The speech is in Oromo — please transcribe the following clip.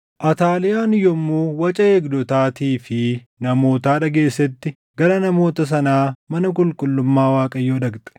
Ataaliyaan yommuu waca eegdotaatii fi namootaa dhageessetti gara namoota sanaa mana qulqullummaa Waaqayyoo dhaqxe.